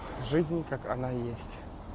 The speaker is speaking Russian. жизнь как она есть